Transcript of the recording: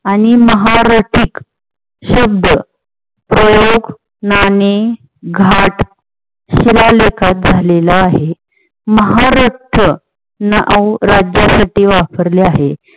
आणि महा रथिक शब्द प्रयोग नाणे घाट झालेला आहे महा रक्त हा शब्द नऊ राज्यासाठी वापरलेला आहे.